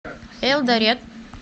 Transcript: элдорет